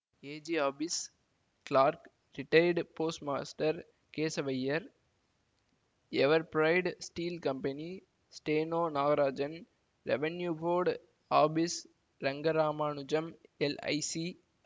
AG office clerk retired post master Kesavaiyar Everbright steel company steno Nagarajan revenue board office Rangaramanujam LIC